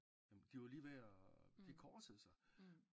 Jamen de var lige ved at de korsede sig